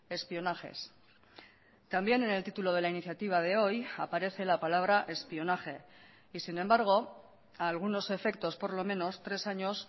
espionajes también en el título de la iniciativa de hoy aparece la palabra espionaje y sin embargo a algunos efectos por lo menos tres años